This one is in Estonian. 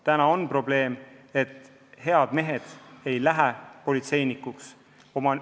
Praegu on probleem, et head mehed ei lähe politseinikuks.